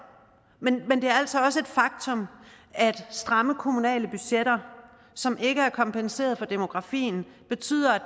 også et faktum at stramme kommunale budgetter som ikke er kompenseret for demografien betyder at